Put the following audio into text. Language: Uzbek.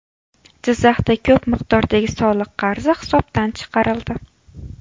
Jizzaxda ko‘p miqdordagi soliq qarzi hisobdan chiqarildi.